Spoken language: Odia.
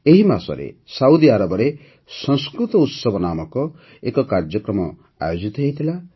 ଏହି ମାସରେ ସାଉଦି ଆରବରେ ସଂସ୍କୃତ ଉତ୍ସବ ନାମକ ଏକ କାର୍ଯ୍ୟକ୍ରମ ଆୟୋଜିତ ହୋଇଥିଲା